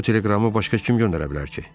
Bu teleqramı başqa kim göndərə bilər ki?